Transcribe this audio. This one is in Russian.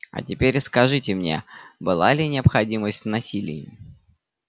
а теперь скажите мне была ли необходимость в насилии